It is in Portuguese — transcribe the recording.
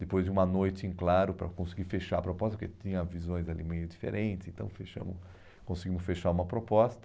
Depois de uma noite em claro para conseguir fechar a proposta, porque tinha visões ali meio diferentes, então fechamos, conseguimos fechar uma proposta.